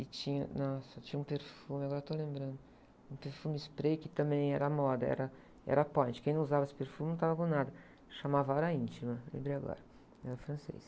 E tinha, nossa, tinha um perfume, agora estou lembrando, um perfume spray que também era moda, era, era point, quem não usava esse perfume não estava com nada, chamava Hora Íntima, lembrei agora, era francês.